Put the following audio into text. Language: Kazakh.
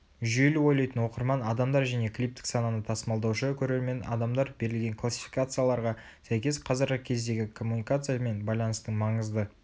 жүйелі ойлайтын оқырман адамдар және клиптік сананы тасымалдаушы көрермен адамдар берілген классификацияларға сәйкес қазіргі кездегі коммуникация мен байланыстың маңызды